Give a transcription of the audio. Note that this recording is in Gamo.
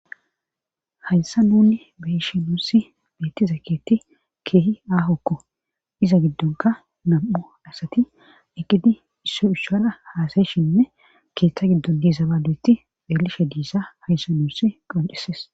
Hayssa nuunni beshi nuussi beettiza keetti keehi aahokko iza giddonka nam7u asati eqqidi isso ushala haasayishinne keeththa giddo diisa balueti eelishe diisa hayssa nuussi qonceses.